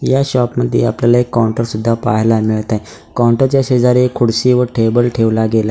या शॉप मध्ये आपल्याला एक काउंटर सुद्धा पाहायला मिळतय काउंटर च्या शेजारी एक खुर्ची व टेबल ठेवला गेला --